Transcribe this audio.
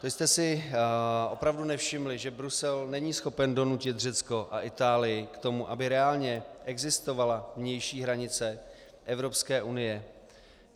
Vy jste si opravdu nevšimli, že Brusel není schopen donutit Řecko a Itálii k tomu, aby reálně existovala vnější hranice Evropské unie?